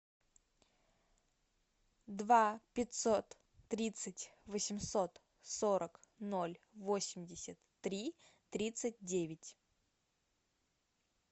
два пятьсот тридцать восемьсот сорок ноль восемьдесят три тридцать девять